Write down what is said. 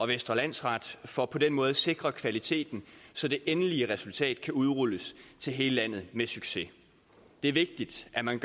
vestre landsret for på den måde at sikre kvaliteten så det endelige resultat kan udrulles til hele landet med succes det er vigtigt at man